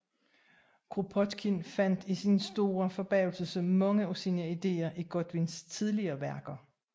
Kropotkin fandt til sin store forbavselse mange af sine ideer i Godwins tidligere værker